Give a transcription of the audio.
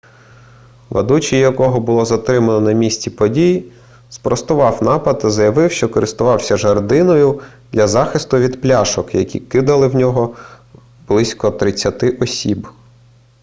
ведучий якого було затримано на місці подій спростував напад та заявив що користувався жердиною для захиститу від пляшок які кидали в нього близько тридцяти осіб